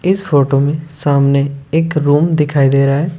इस फोटो में सामने एक रूम दिखाई दे रहा है।